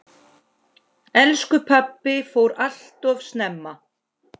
Elsku pabbi fór alltof snemma.